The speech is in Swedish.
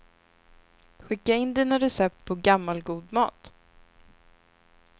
Skicka in dina recept på gammal, god mat.